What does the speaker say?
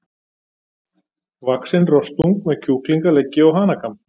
vaxinn rostung með kjúklingaleggi og hanakamb.